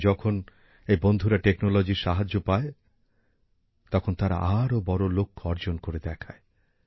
কিন্তু যখন এই বন্ধুরা প্রযুক্তির সাহায্য পায় তখন তারা আরো বড় লক্ষ্য অর্জন করে দেখায়